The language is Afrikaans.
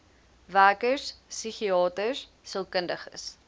werkers psigiaters sielkundiges